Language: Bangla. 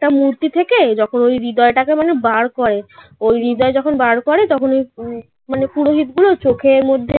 টা মূর্তি থেকে যখন ওই হৃদয়টাকে মানে বার করে. ওই হৃদয় যখন বার করে তখন ওই মানে পুরোহিত গুলো চোখের মধ্যে